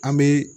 An bɛ